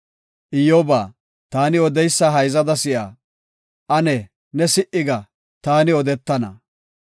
“Iyyoba, taani odeysa hayzada si7a; ane ne si77i ga; taani odetana.